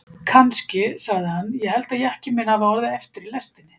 Kannski, sagði hann, ég held að jakkinn minn hafi orðið eftir í lestinni.